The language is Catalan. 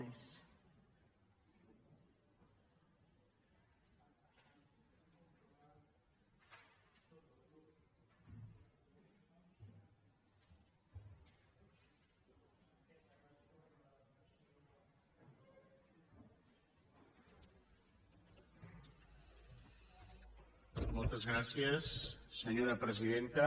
moltes gràcies senyora presidenta